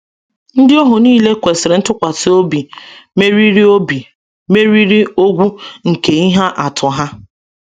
Ndị ohu niile kwesịrị ntụkwasị obi meriri obi meriri ogwu nke ihe atụ ha.